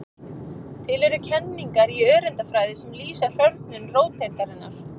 Til eru kenningar í öreindafræði sem lýsa hrörnun róteindarinnar.